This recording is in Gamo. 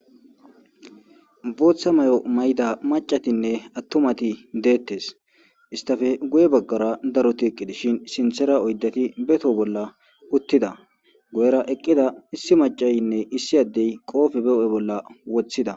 Bootha mayo mayida macatinne atumati detesi , issitappe guye bagara daroti eqi dishn sinthera oydati be toho bolla utida, guyera eqid issi macayinne issi adeyi qoope be hu'e bolla wothida.